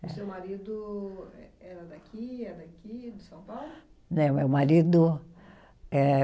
E seu marido eh era daqui, é daqui, de São Paulo? Não, meu marido eh